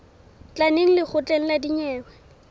tla neng lekgotleng la dinyewe